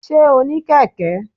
sé o ní Keke?